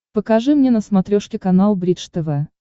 покажи мне на смотрешке канал бридж тв